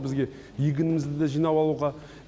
бізге егінімізді да жинап алуға